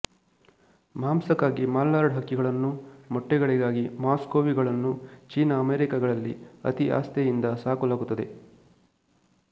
ಮಾಂಸಕ್ಕಾಗಿ ಮಲಾರ್ಡ್ ಹಕ್ಕಿಗಳನ್ನೂ ಮೊಟ್ಟೆಗಳಿಗಾಗಿ ಮಸ್ಕೋವಿಗಳನ್ನೂ ಚೀನ ಅಮೆರಿಕಗಳಲ್ಲಿ ಅತಿ ಆಸ್ಥೆಯಿಂದ ಸಾಕಲಾಗುತ್ತದೆ